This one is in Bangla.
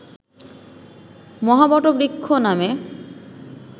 মহাবটবৃক্ষ নামে